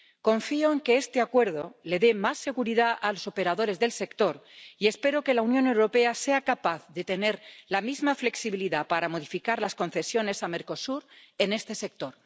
Confío en que este Acuerdo les dé más seguridad a los operadores del sector, y espero que la Unión Europea sea capaz de tener la misma flexibilidad para modificar las concesiones a Mercosur en este sector.